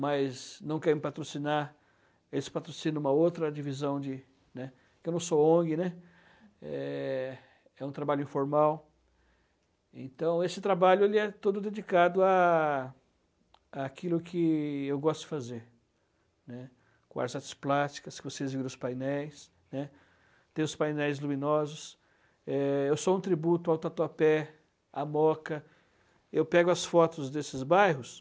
mas não quer me patrocinar eles patrocinam uma outra divisão de, né, que eu não sou Ong, né, é, é um trabalho informal então esse trabalho ele é todo dedicado a aquilo que eu gosto de fazer né com as artes plásticas que vocês viram os painéis n´´e, tem os painéis luminosos eh, eu sou um tributo ao Tatuapé, a Moca eu pego as fotos desses bairros